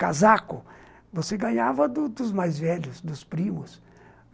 Casaco, você ganhava dos dos mais velhos, dos primos.